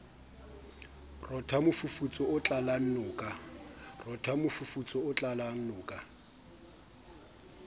rotha mofufutso o tlalang noka